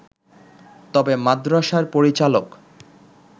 তবে মাদ্রাসার পরিচালক